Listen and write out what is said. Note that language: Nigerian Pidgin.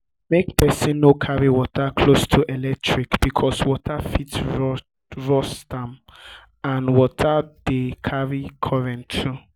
make person no carry water close to electric because water fit rust am and water de carry current too